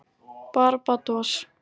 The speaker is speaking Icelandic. Barbados